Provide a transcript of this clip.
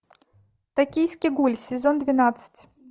токийский гуль сезон двенадцать